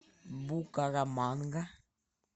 букараманга